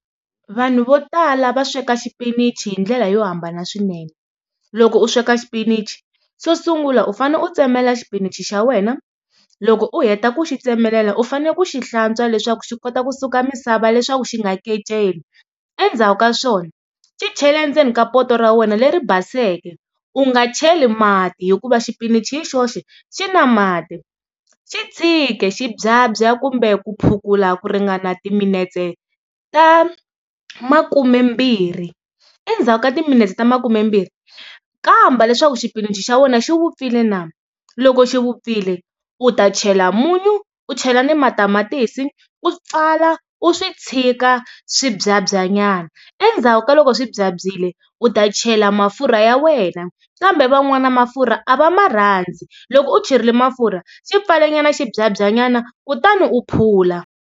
Vanhu vo tala va sweka xipinichi hi ndlela yo hambana swinene loko u sweka xipinichi xo sungula u fane u tsemelela xipinichi xa wena loko u heta ku xi tsemelela u fanele ku xi hlantswa leswaku xi kota kusuka misava leswaku xi nga keceli, endzhaku ka swona xi chele endzeni ka poto ra wena leri baseke u nga cheli mati hikuva xipinichi yi xoxe xi na mati xi tshiki xi byabya kumbe ku phukula ku ringana timinetse ta makumembirhi. Endzhaku ka timinetse ta makumembirhi kamba leswaku xipinichi xa wena xi vupfile na loko xi vupfile u ta chela munyu u chela na matamatisi u pfala u swi tshika swi byabya nyana endzhaku ka loko swi byabyile u ta chela mafurha ya wena kambe van'wana mafurha a va ma rhandzi. Loko u cherile mafurha xipfale nyana xi byabya nyana kutani u phula.